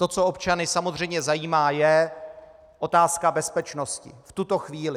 To, co občany samozřejmě zajímá, je otázka bezpečnosti v tuto chvíli.